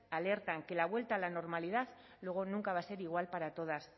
alertan que la vuelta a la normalidad luego nunca va a ser igual para todas